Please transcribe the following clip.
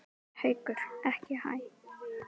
Haukur: Ekki hæ?